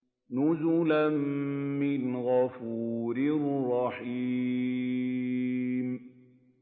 نُزُلًا مِّنْ غَفُورٍ رَّحِيمٍ